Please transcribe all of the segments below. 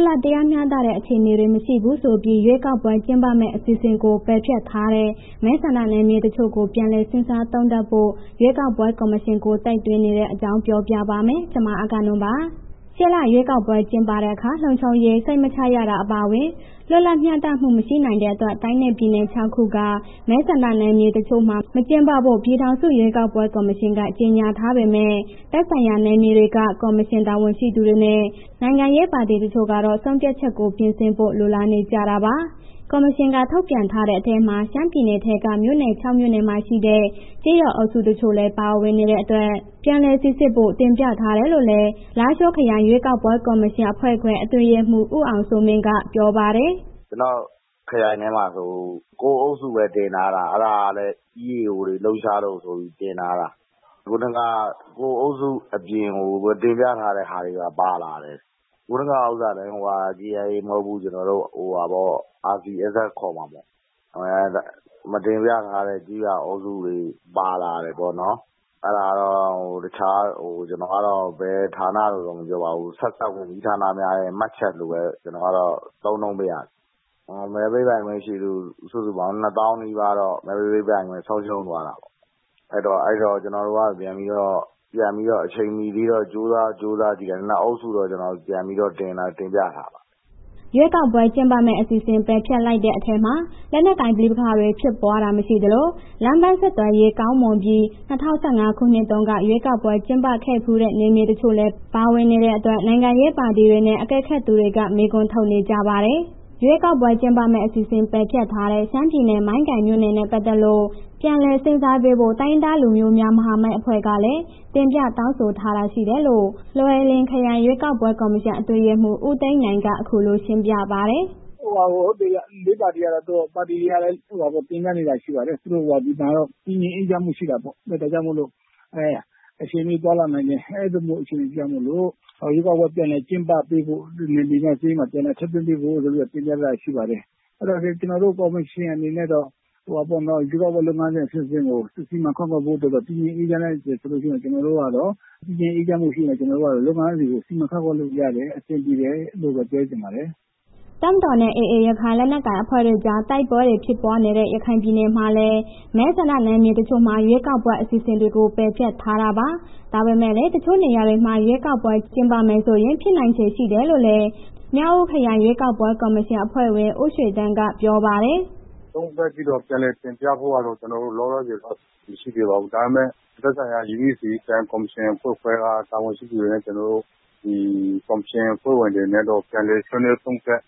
တ်လပ်မျှတတဲ့ အခြေအနေတွေ မရှိဘူးဆိုပြီး ရွေးကောက်ပွဲ ကျင်းပမယ့် အစီအစဉ်ကို ပယ်ဖျက်ထားတဲ့ မဲဆန္ဒနယ်မြေတချို့ကို ပြန်လည် စဉ်းစားသုံးသပ်ဖို့ ရွေးကောက်ပွဲ ကော်မရှင်ကို တိုက်တွန်းနေတဲ့အကြောင်းကို ဗွီအိုအေမြန်မာပိုင်း သတင်းထောက် မအဂ္ဂနွန်က ပြောပြပါမယ်။ ရှေ့လထဲ ရွေးကောက်ပွဲ ကျင်းပတဲ့အခါ လုံခြုံရေး စိတ်မချရတာ အပါအဝင် လွတ်လပ်မျှတမှု မရှိနိုင်တဲ့အတွက် တိုင်းနဲ့ ပြည်နယ် ၆ ခုက မဲဆန္ဒနယ်မြေ တချို့မှာ မကျင်းပဖို့ ပြည်ထောင်စုရွေးကောက်ပွဲ ကော်မရှင်က ကြေညာထားပေမဲ့ သက်ဆိုင်ရာ နယ်မြေတွေက ကော်မရှင် တာဝန်ရှိသူတွေနဲ့ နိုင်ငံရေး ပါတီတချို့ကတော့ ဆုံးဖြတ်ချက်ကို ပြင်ဆင်ဖို့ လိုလားနေကြတာပါ။ ကော်မရှင်က ထုတ်ပြန်ထားတဲ့ အထဲမှာ ရှမ်းပြည်နယ်ထဲက မြို့နယ် ၆ မြို့နယ်မှာရှိတဲ့ ကျေးရွာအုပ်စု တချို့လည်း ပါဝင်နေတဲ့အတွက် ပြန်လည်စိစစ်ဖို့ တင်ပြထားတယ်လို့လည်း လားရှိုးခရိုင် ရွေးကောက်ပွဲကော်မရှင်အဖွဲ့ခွဲ အတွင်းရေးမှူး ဦးအောင်စိုးမင်းက ပြောပါတယ်။ “ဟုတ်ကဲ့။ ကျနော့် ခရိုင်ထဲမှာဆိုရင် ၉ အုပ်စုပဲ တင်ထားတာ အဲ့ဒါလည်း လက်နက်ကိုင်တွေ လှုပ်ရှားလို့ဆိုပြီး တင်ထားတာ ဟုတ်တယ် ခုဏက ၉ အုပ်စုအပြင်ကို မတင်ပြထားတဲ့ဟာပါတွေ ပါလာတယ်၊ ဟိုဟာလေ KIA မဟုတ်ဘူး၊ RCSS ခေါ်မှာပေါ့။ မတင်ပြထားတဲ့ ကျေးရွာအုပ်စုတွေ ပါလာတယ်ပေါ့နော်၊ အဲ့ဒါတော့ ကျနော်ကတော့ ဘယ်ဌာနလို့လည်းမပြောပါဘူး။ ဆက်စပ်ဝန်ကြီးဌာနများရဲ့ မှတ်ချက်လို့ပဲ ကျနော်ကတော့ သုံးနှုန်းပါရစေ။ မဲပေးပိုင်ခွင့်ရှိသူက ၂၀,၀၀၀ နီးပါးတော့ မဲပေးပိုင်ခွင့် ဆုံးရှုံးသွားတာပေါ့၊ အဲ့ဒီတော့ ကျနော်တို့ကတော့ ပြန်ပြီးတော့ အချိန်မီသေးတော့ ကြိုးစားကြည့်တယ်။ ၂ အုပ်စုတော့ ပြန်ပြီးတော့ တင်ပြထားပါတယ်။” ရွေးကောက်ပွဲကျင်းပမယ့် အစီအစဉ် ပယ်ဖျက်လိုက်တဲ့ အထဲမှာ လက်နက်ကိုင် ပဋိပက္ခတွေ ဖြစ်ပွားတာမရှိသလို လမ်းပန်းဆက်သွယ်ရေး ကောင်းမွန်ပြီး ၂၀၁၅ ခုနှစ်တုန်းက ရွေးကောက်ပွဲ ကျင်းပခဲ့ဖူးတဲ့ နယ်မြေတချို့လည်း ပါဝင်နေတဲ့အတွက် နိုင်ငံရေးပါတီတွေနဲ့ အကဲခတ်တွေက မေးခွန်းထုတ်နေကြပါတယ်။ ရွေးကောက်ပွဲကျင်းပမယ့် အစီအစဉ် ပယ်ဖျက်ထားတဲ့ ရှမ်းပြည်နယ် မိုင်းကိုင်မြို့နယ်နဲ့ ပတ်သက်လို့ ပြန်လည်စဉ်းစားပေးဖို့ တိုင်းရင်းသားလူမျိုးများ မဟာမိတ်အဖွဲ့ကလည်း တင်ပြတောင်းဆိုထားတာ ရှိတယ်လို့ လွိုင်လင်ခရိုင် ရွေးကောက်ပွဲ ကော်မရှင် အတွင်းရေးမှူး ဦးသိန်းနိုင်က အခုလိုရှင်းပြပါတယ်။ “လေးပါတီက တင်ပြနေတာ ရှိပါတယ်၊ ဒီမှာတော့ တည်ငြိမ်အေးချမ်းမှုရှိတာပေါ့။ ဒါကြောင့်မို့လို့ အခြေအနေကောင်းလာနိုင်တယ်။ အဲ့ဒါကြောင့်မို့လို့ ရွေးကောက်ပွဲပြန်လည် ကျင်းပပေးဖို့ နယ်မြေကျေးရွာမှာ ပြန်လည်ထည့်သွင်းပေးဖို့ တင်ပြထားတာရှိပါတယ်၊ အဲ့ဒီတော့ ကျနော်တို့ ကော်မရှင်အနေနဲ့တော့ ရွေးကောက်ပွဲလုပ်ငန်းစဉ် အဆင့်ဆင့်ကို စီမံခန့်ခွဲဖို့အတွက်က တည်ငြိမ်းအေးမှုရှိမယ်ဆိုရင် ကျနော်တို့ကတော့ လုပ်ငန်းစဉ်ကို စီမံခန့်ခွဲလို့ရတယ်၊ အဆင်ပြေတယ်၊ အဲ့လိုပဲ ပြောချင်ပါတယ်။” တပ်မတော်နဲ့ AA ရခိုင်လက်နက်ကိုင် အဖွဲ့တို့ကြား တိုက်ပွဲတွေ ဖြစ်ပွားနေတဲ့ ရခိုင်ပြည်နယ်မှာလည်း မဲဆန္ဒနယ်မြေတချို့မှာ ရွေးကောက်ပွဲ အစီအစဉ်တွေကို ပယ်ဖျက်ထားတာပါ။ ဒါပေမဲ့လည်း တချို့နေရာတွေမှာ ရွေးကောက်ပွဲ ကျင်းပမယ်ဆိုရင် ဖြစ်နိုင်ခြေရှိတယ်လို့လည်း မြောက်ဦးခရိုင် ရွေးကောက်ပွဲကော်မရှင် အဖွဲ့ဝင် ဦးရွှေသန်းကပြောပါတယ်။ “သုံးသပ်ပြီးတော့ ပြန်လည်တင်ပြဖို့တော့ ကျနော်တို့ လောလောဆယ် အစီစဉ်မရှိသေးဘူး၊ ဒါပေမဲ့ သက်ဆိုင်ရာ UEC ခရိုင်ကော်မရှင်အဖွဲ့ခွဲက တာဝန်ရှိသူတွေနဲ့ ကျနော်တို့ ဒီကော်မရှင်အဖွဲ့ဝင်တွေနဲ့တော့ ပြန်လည်ဆွေးနွေး သုံးသပ်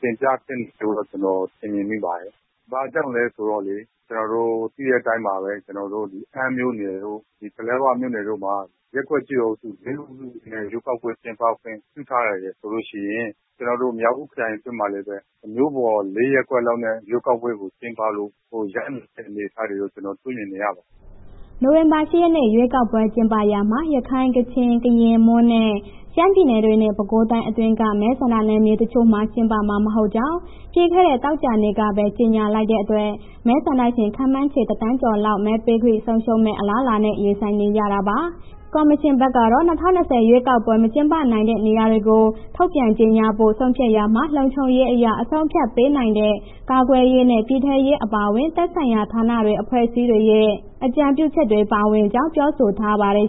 တင်ပြသင့်တယ်လို့ ကျနော်ထင်မြင်မိပါတယ်၊ ဘာကြောင့်လဲဆိုတော့လေး ကျနော်တို့ သိတဲ့အတိုင်းပါပဲ ကျနော်တို့ အမ်းမြို့နယ်တို့ ပလက်ဝမြို့နယ်မှာ ရပ်ကွက်ကျေးရွာအုပ်စု ၄ အုပ်စုနဲ့ ရွေးကောက်ပွဲကျင်းပခွင့် ထားတယ်ဆိုလို့ရှိရင် ကျနော်တို့ မြောက်ဦးခရိုင်အတွင်းမှာလည်းပဲ မြို့ပေါ် ၄ ရပ်ကွက်လောက်နဲ့ ရွေးကောက်ပွဲကို ကျင်းပလို ရနိုင်တဲ့ အနေအထားကို ကျနော်တွေ့မြင်နေရပါတယ်။” နိုဝင်ဘာလ ၈ ရက်နေ့ ရွေးကောက်ပွဲ ကျင်းပရာမှာ ရခိုင်၊ ကချင်၊ ကရင်၊ မွန်နဲ့ ရှမ်းပြည်နယ်တွေနဲ့ ပဲခူးတိုင်းအတွင်းက မဲဆန္ဒနယ်မြေ တချို့မှာ ကျင်းပမှာ မဟုတ်ကြောင်း ပြီးခဲ့တဲ့ သောကြာနေ့ကပဲ ကြေညာလိုက်တဲ့အတွက် မဲဆန္ဒရှင် ခန့်မှန်းခြေ ၁,၀၀၀,၀၀၀ ကျော်လောက် မဲပေးခွင့် ဆုံးရှုံးမယ့် အလားအလာနဲ့ ရင်ဆိုင်နေရတာပါ။ ကော်မရှင်ဘက်ကတော့ ၂၀၂၀ ရွေးကောက်ပွဲ မကျင်းပနိုင်တဲ့နေရာတွေကို ထုတ်ပြန်ကြေညာဖို့ ဆုံးဖြတ်ရာမှာ လုံခြုံရေးအရ အဆုံးအဖြတ် ပေးနိုင်တဲ့ ကာကွယ်ရေးနဲ့ ပြည်ထဲရေးအပါအဝင် သက်ဆိုင်ရာဌာနတွေ အဖွဲ့အစည်းတွေရဲ့ အကြံပြုချက်တွေ ပါဝင်ကြောင်း ပြောဆိုထားပါတယ်